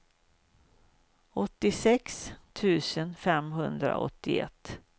åttiosex tusen femhundraåttioett